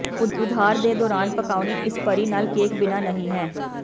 ਉਧਾਰ ਦੇ ਦੌਰਾਨ ਪਕਾਉਣੀ ਇਸ ਭਰੀ ਨਾਲ ਕੇਕ ਬਿਨਾ ਨਹੀ ਹੈ